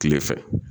Kile fɛ